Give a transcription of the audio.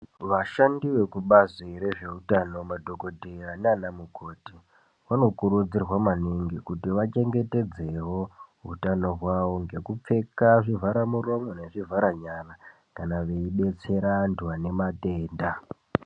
Vashandi vekubazi rezveutano, madhokodheya naanamukoti, vanokurudzirwa maningi, kuti vachengetedzewo utano hwavo ngekupfeka zvivharamuromo nezvivharanyara, kana veibetsera antu ane matenda.